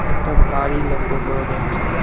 একটা বাড়ি লক্ষ্য করা যাচ্ছে।